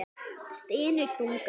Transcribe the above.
Stynur þungan.